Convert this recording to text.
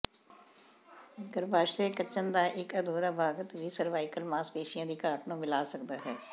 ਗਰੱਭਾਸ਼ਯ ਕੱਚਣ ਦਾ ਇਕ ਅਧੂਰਾ ਭਾਗਕ ਵੀ ਸਰਵਵਾਈਕਲ ਮਾਸਪੇਸ਼ੀਆਂ ਦੀ ਘਾਟ ਨੂੰ ਮਿਲਾ ਸਕਦਾ ਹੈ